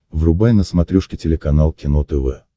врубай на смотрешке телеканал кино тв